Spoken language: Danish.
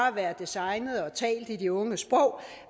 at være designet og talt i de unges sprog